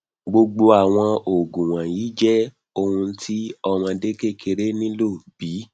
gbogbo awọn oogun wọnyi jẹ ohun ti ọmọde kekere nilo bi